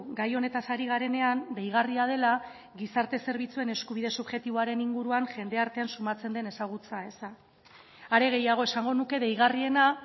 gai honetaz ari garenean deigarria dela gizarte zerbitzuen eskubide subjektiboaren inguruan jendartean sumatzen den ezagutza eza are gehiago esango nuke deigarriena